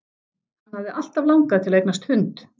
Hann hafði alltaf langað til að eignast hund.